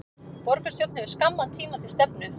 Borgarstjórn hefur skamman tíma til stefnu